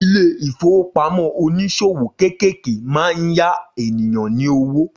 Ilé-ìfowópamọ́ oníṣòwò kéékèèké máa ń ya ènìyàn ní owó